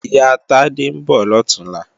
Ìyá Tádé ń bọ̀ lọ̀túnla